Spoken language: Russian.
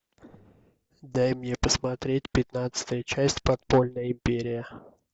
дай мне посмотреть пятнадцатая часть подпольная империя